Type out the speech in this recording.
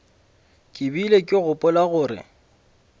ke bile ke gopola gore